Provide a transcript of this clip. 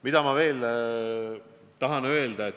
Mida ma veel tahan öelda?